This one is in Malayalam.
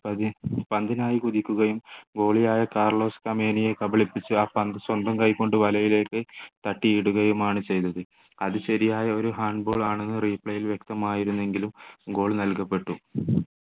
പന്തിനായ് കുതിക്കുകയും goalie യായ കാർലോസ് കമേനിയെ കബളിപ്പിച്ചു ആ പന്ത് സ്വന്തം കൈകൊണ്ട് വലയിലേക്ക് തട്ടി ഇടുകയും ആണ് ചെയ്തത് അത് ശരിയായ ഒരു hand ball ആണെന്ന് replay ൽ വ്യെക്തമായിരുന്നു എങ്കിലും goal നൽകപ്പെട്ടു